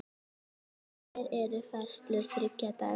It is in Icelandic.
Hér eru færslur þriggja daga.